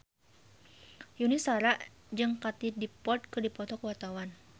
Yuni Shara jeung Katie Dippold keur dipoto ku wartawan